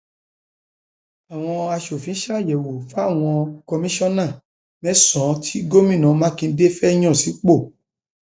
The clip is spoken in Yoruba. àwọn aṣòfin ṣàyẹwò fáwọn kọmìnṣán mẹsànán tí gómìnà mákindè fẹẹ yan sípò